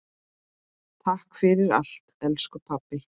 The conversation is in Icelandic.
Takk fyrir allt elsku pabbi.